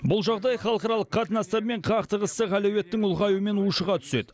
бұл жағдай халықаралық қатынастар мен қақтығыстық әлеуеттің ұлғаюымен ушыға түседі